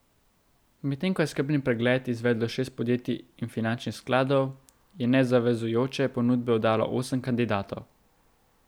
Medtem ko je skrbni pregled izvedlo šest podjetij in finančnih skladov, je nezavezujoče ponudbe oddalo osem kandidatov.